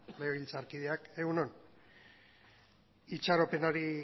legebiltzarkideok egun on itxaropenari